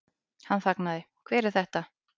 Hann þagnaði, Hver er þetta?